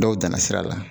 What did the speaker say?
Dɔw danna sira la